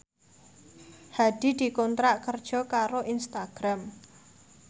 Hadi dikontrak kerja karo Instagram